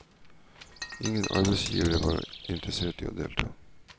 Ingen arbeidsgivere var interessert i å delta.